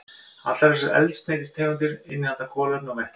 Allar þessar eldsneytistegundir innihalda kolefni og vetni.